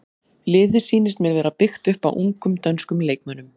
Liðið sýnist mér vera byggt upp á ungum dönskum leikmönnum.